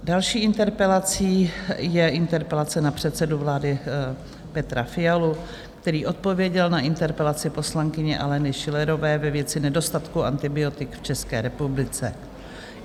Další interpelací je interpelace na předsedu vlády Petra Fialu, který odpověděl na interpelaci poslankyně Aleny Schillerové ve věci nedostatku antibiotik v České republice.